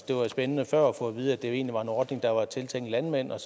det var spændende før at få at vide at det egentlig var en ordning der var tiltænkt landmænd og